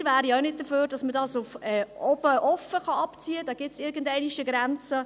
Wir wären ja auch nicht dafür, dass man dies bis nach oben offen abziehen kann, da gibt es irgendwo eine Grenze.